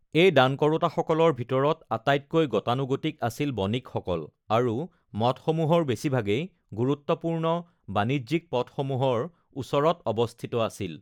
এই দান কৰোঁতাসকলৰ ভিতৰত আটাইতকৈ গতানুগতিক আছিল বণিকসকল, আৰু মঠসমূহৰ বেছিভাগেই গুৰুত্বপূৰ্ণ বাণিজ্যিক পথসমূহৰ ওচৰত অৱস্থিত আছিল।